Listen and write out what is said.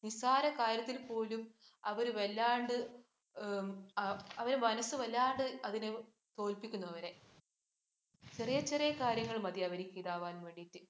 നിസ്സാര കാര്യത്തില്‍ പോലും അവര് വല്ലാണ്ട്, അവരുടെ മനസ്സ് വല്ലാണ്ട് അതിന് തോല്‍പ്പിക്കുന്നു അവരെ. ചെറിയ, ചെറിയ കാര്യങ്ങള്‍ മതി അവര്‍ക്ക് ഇതാവാന്‍ വേണ്ടിട്ട്.